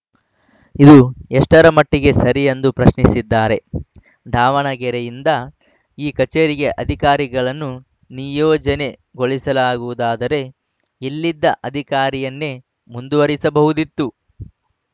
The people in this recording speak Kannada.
ಇದು ಎಷ್ಟರಮಟ್ಟಿಗೆ ಸರಿ ಎಂದು ಪ್ರಶ್ನಿಸಿದ್ದಾರೆ ದಾವಣಗೆರೆಯಿಂದ ಈ ಕಚೇರಿಗೆ ಅಧಿಕಾರಿಗಳನ್ನು ನಿಯೋಜನೆಗೊಳಿಸುವುದಾದರೆ ಇಲ್ಲಿದ್ದ ಅಧಿಕಾರಿಯನ್ನೇ ಮುಂದುವರಿಸಬಹುದಿತ್ತು